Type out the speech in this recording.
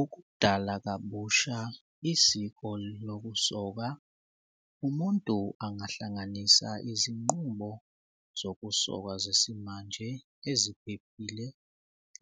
Ukudala kabusha isiko lokusoka umuntu angahlanganisa izinqumo zokusoka zesimanje eziphephile